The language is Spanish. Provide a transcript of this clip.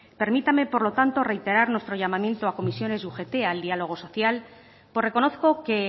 permítame por lo tanto reiterar nuestro llamamiento a comisiones y ugt al diálogo social por reconozco que